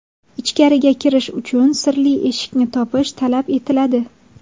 Ichkariga kirish uchun sirli eshikni topish talab etiladi.